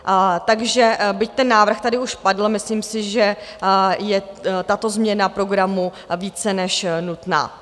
Takže byť ten návrh tady už padl, myslím si, že je tato změna programu více než nutná.